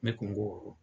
Ne kun ko